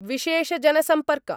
विशेषजनसम्पर्क